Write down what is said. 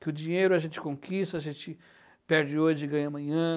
Que o dinheiro a gente conquista, a gente perde hoje e ganha amanhã.